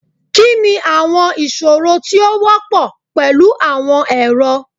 Kini awọn iṣoro ti o wọpọ pẹlu awọn ẹrọ?